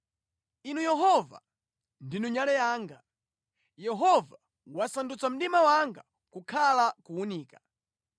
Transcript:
Inu Yehova, ndinu nyale yanga; Yehova wasandutsa mdima wanga kukhala kuwunika.